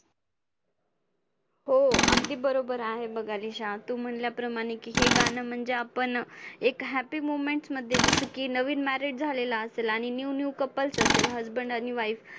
हो अगदी बरोबर आहे बघ अलिशा. तू म्हंटल्याप्रमाणे की हे गाणं म्हणजे आपण एक happy moment मध्ये जसं की नवीन married झालेलं असेल आणि new new couples असेल husband आणि wife